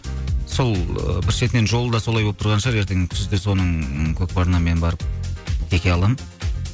сол ыыы бір шетінен жолы да солай болып тұрған шығар ертең күзде соның көкпарына мен барып теке аламын